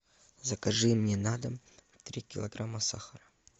закажи мне на дом три килограмма сахара